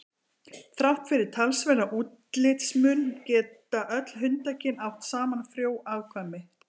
Þrátt fyrir talsverðan útlitsmun geta öll hundakyn átt saman frjó afkvæmi.